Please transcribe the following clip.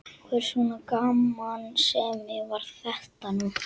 Hvers konar gamansemi var þetta nú?